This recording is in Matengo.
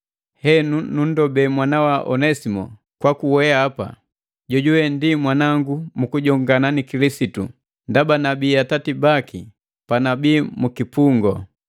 Henu, nunndobee mwanawa Onesimo kwaku weapa, jojuwe ndi mwanangu mu kujongana ni Kilisitu ndaba nabii ngiti atati baki panabii mu kipungu.